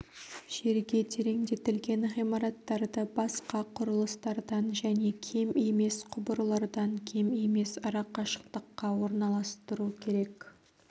жерге тереңдетілген ғимараттарды басқа құрылыстардан және кем емес құбырлардан кем емес арақашықтыққа орналастыру керек